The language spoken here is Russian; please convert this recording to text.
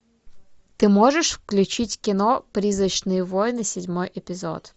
ты можешь включить кино призрачные войны седьмой эпизод